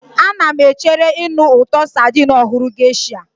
Ana m echere ịnụ ụtọ sardine ọhụrụ Geisha.